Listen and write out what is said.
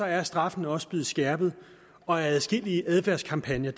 er straffene også blevet skærpet og adskillige adfærdskampagner